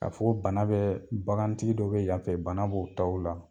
K'a fɔ bana bɛɛ bagantigi dɔ be yanfɛ bana b'o taw la